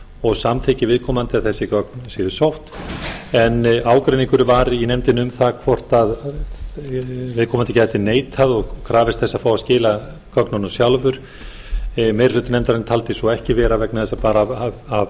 og samþykki viðkomandi að þessi gögn séu sótt en ágreiningur var í nefndinni um það hvort viðkomandi gæti neitað og krafist þess að fá að skila gögnunum sjálfur meiri hluti nefndarinnar taldi svo ekki vera vegna þess bara af